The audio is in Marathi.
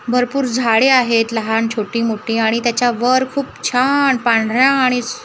भरपूर झाडे आहेत लहान छोटी मोठी आणि त्याच्यावर खूप छान पांढऱ्या आणि अ निळ्या--